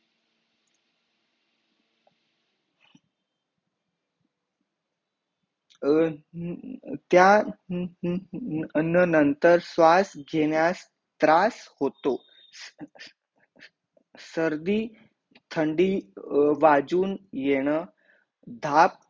त्यानंतर श्वास घेण्यास त्रास होतो सर्दी ठंडी वाजून येणं ताप